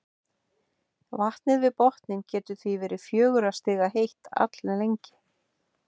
vatnið við botninn getur því verið fjögurra stiga heitt alllengi